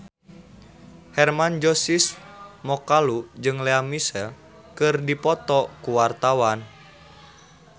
Hermann Josis Mokalu jeung Lea Michele keur dipoto ku wartawan